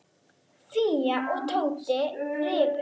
Fía og Tóti rifust.